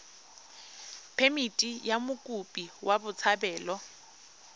phemithi ya mokopi wa botshabelo